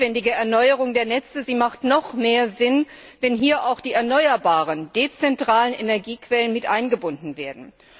Die notwendige Erneuerung der Netze hat noch mehr Sinn, wenn hier auch die erneuerbaren, dezentralen Energiequellen mit eingebunden werden.